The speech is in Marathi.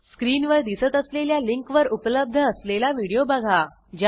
स्क्रीनवर दिसत असलेल्या लिंकवर उपलब्ध असलेला व्हिडिओ बघा